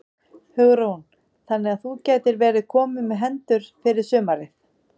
Hugrún: Þannig að þú gætir verið kominn með hendur fyrir sumarið?